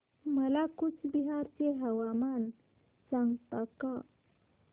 मला कूचबिहार चे हवामान सांगता का